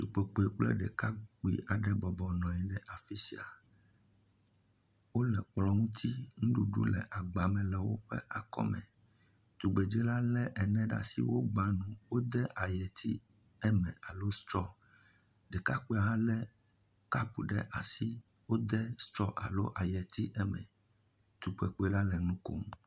Ɖetugbi kple ɖekakpui aɖe bɔbɔnɔ anyi ɖe afi sia. Wo le kplɔ ŋutsi, nuɖuɖu le agba me le woƒe akɔ me. Tugbedzɛ la le ene ɖe asi wogba wode ayetsi eme alo strɔ. Ɖekakpuia hã le kapu ɖe asi wode strɔ alo ayetsi eme. Tugbdze la le nu kom.